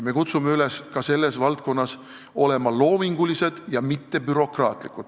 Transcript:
Me kutsume üles ka selles valdkonnas olema loomingulised ja mitte bürokraatlikud.